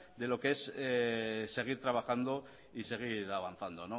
de lo que es seguir trabajando y seguir avanzando